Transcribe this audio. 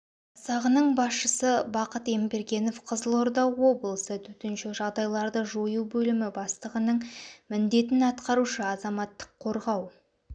жасағының басшысы бақыт ембергенов қызылорда облысы төтенше жағдайларды жою бөлімі бастығының міндетін атқарушы азаматтық қорғау